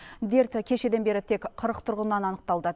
дерт кешеден бері тек қырық тұрғыннан анықталды